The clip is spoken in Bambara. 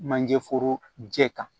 Manje foro jɛ kan